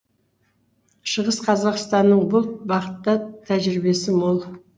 шығыс қазақстанның бұл бағытта тәжірибесі мол